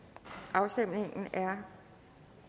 afstemningen er